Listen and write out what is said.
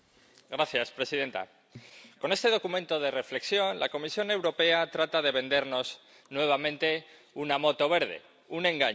Señora presidenta, con este documento de reflexión la Comisión Europea trata de vendernos nuevamente una moto verde, un engaño.